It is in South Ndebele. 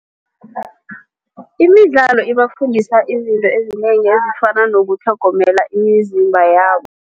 Imidlalo ibafundisa izinto ezinengi ezifana nokutlhogomela imizimba